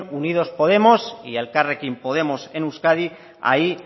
unidos podemos y elkarrekin podemos en euskadi ahí